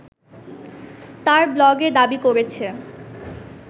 তার ব্লগে দাবি করেছে